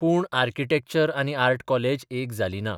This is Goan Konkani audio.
पूण आर्किटॅक्चर आनी आर्ट कॉलेज एक जाली ना.